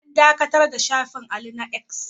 An dakatar da shafin Ali na 'X'